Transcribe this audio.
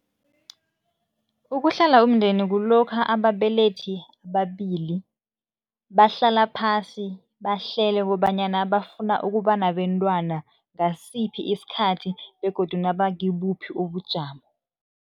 Ukuhlela umndeni kulokha ababelethi ababili, bahlala phasi, bahlele kobanyana bafuna ukuba nabentwana ngasiphi isikhathi begodu naba kibuphi ubujamo.